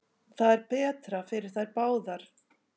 Það er betra fyrir þær báðar.